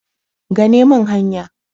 gane min hanya!